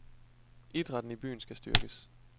Idrætten i byen skal styrkes.